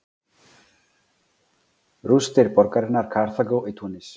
Rústir borgarinnar Karþagó í Túnis.